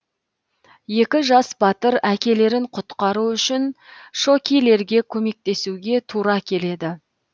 екі жас батыр әкелерін құтқару үшін шокилерге көмектесуге тура келеді